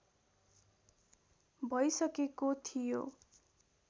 भइसकेको थियो